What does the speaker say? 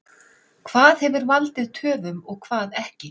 Hvað hefur valdið töfum og hvað ekki?